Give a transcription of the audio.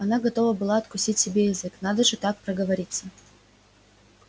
она готова была откусить себе язык надо же так проговориться